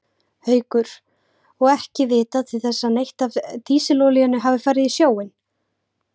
Haukur: Og ekki vitað til þess að neitt af dísilolíunni hafi farið í sjóinn?